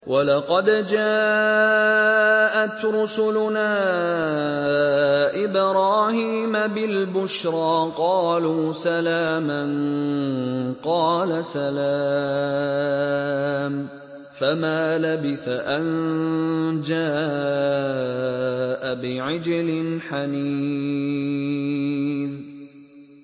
وَلَقَدْ جَاءَتْ رُسُلُنَا إِبْرَاهِيمَ بِالْبُشْرَىٰ قَالُوا سَلَامًا ۖ قَالَ سَلَامٌ ۖ فَمَا لَبِثَ أَن جَاءَ بِعِجْلٍ حَنِيذٍ